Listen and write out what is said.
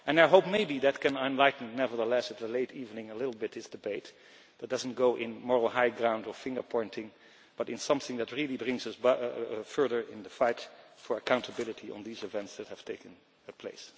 I hope maybe that can enlighten, nevertheless at the late evening, a little bit this debate, that it does not go on moral high ground or finger pointing but in something that really brings us further in the fight for accountability on these events that have taken place.